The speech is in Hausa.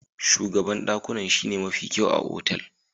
Shugaban dakunan shine mafi kyau a otal.